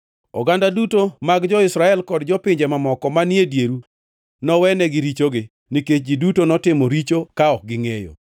Oganda duto mag jo-Israel kod jopinje mamoko manie dieru nowenegi richogi, nikech ji duto notimo richo ka ok gingʼeyo.